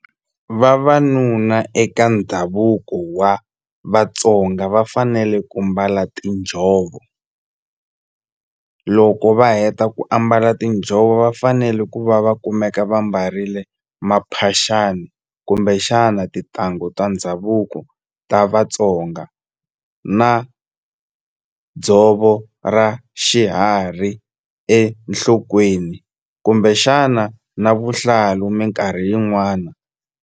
Vavanuna eka ndhavuko wa Vatsonga va fanele ku mbala tinjhovo loko va heta ku ambala tinjhovo va fanele ku va va kumeka va mbarile maphaxani kumbexana tintangu ta ndhavuko ta Vatsonga na dzovo ra xiharhi enhlokweni kumbexana na vuhlalu minkarhi yin'wani.